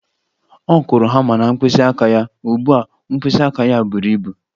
Ọ kụrụ hama na mkpịsị aka ya, ugbu a mkpịsị aka ya buru ibu